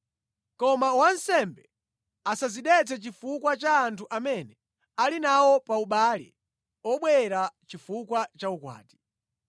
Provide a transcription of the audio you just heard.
Koma wansembe asadzidetse chifukwa cha anthu amene ali nawo pa ubale obwera chifukwa cha ukwati.